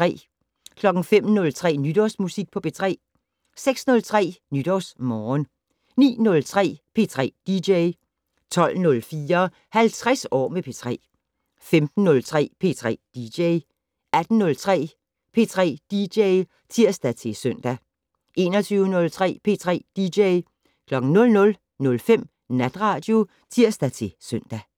05:03: Nytårsmusik på P3 06:03: NytårsMorgen 09:03: P3 dj 12:04: 50 år med P3 15:03: P3 dj 18:03: P3 dj (tir-søn) 21:03: P3 dj 00:05: Natradio (tir-søn)